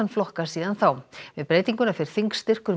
flokka síðan þá við breytinguna fer þingstyrkur